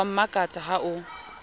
o a mmakatsa ha o